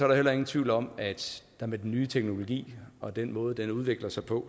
der heller ingen tvivl om at der med den nye teknologi og den måde den udvikler sig på